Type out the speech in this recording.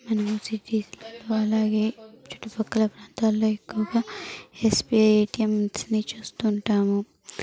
మనం సిటీస్ అలాగే చుట్టుపక్కల ప్రాంతాల్లో ఎక్కువగా ఎస్_బి_ఐ ఏ_టీ_ఎం స్ నీ చూస్తూ ఉంటాము.